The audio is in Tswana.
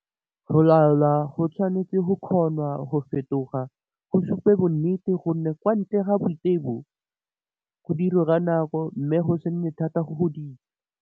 Go laola go tshwanetse go kgonwa go fetoga, go supe bonnete, go nne kwa ntle ga boitebo, go dirwe ka nako, mme go se nne thata go go dira.